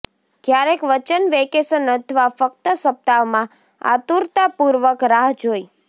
ક્યારેક વચન વેકેશન અથવા ફક્ત સપ્તાહમાં આતુરતાપૂર્વક રાહ જોઈ